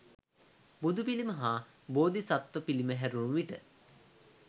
බුදු පිළිම හා බෝධිසත්ව පිළිම හැරුණු විට